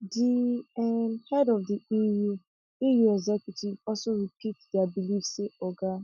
di um head of di eu eu executive also repeat dia believe say oga